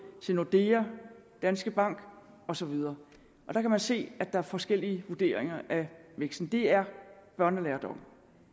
til nordea og danske bank og så videre her kan man se at der er forskellige vurderinger af væksten det er børnelærdom